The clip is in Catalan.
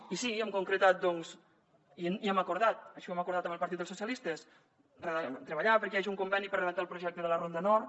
i sí hem concretat i hem acordat així ho hem acordat amb el partit dels socialistes treballar perquè hi hagi un conveni per redactar el projecte de la ronda nord